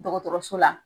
Dɔgɔtɔrɔso la